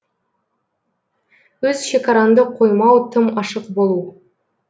өз шекараңды қоймау тым ашық болу